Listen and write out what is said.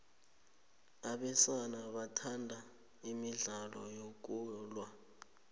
abesana bathanda imidlalo yokulwa